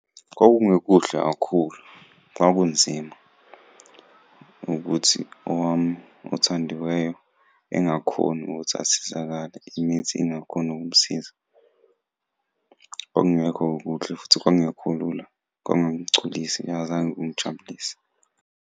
Kwakungekuhle kakhulu, kwakunzima ukuthi owami othandiweyo engakhoni ukuthi asizakale, imithi ingakhoni ukumsiza. Kwakungekho kuhle, futhi kwakungekho lula, kwangangigculisi futhi azange kungijabulise.